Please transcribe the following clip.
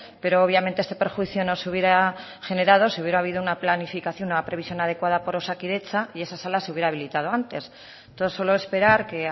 pero obviamente este perjuicio no se hubiera generado si hubiera habido una planificación una previsión adecuada por osakidetza y esa sala se hubiera habilitado antes entonces solo esperar que